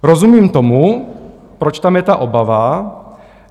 Rozumím tomu, proč tam je ta obava.